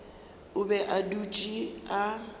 o be a dutše a